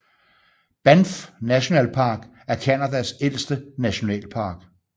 Banff National Park er Canadas ældste nationalpark